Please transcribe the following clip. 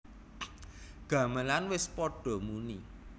Gamelan wis padha muni